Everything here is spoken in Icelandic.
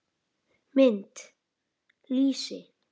Mynd: Lýsi.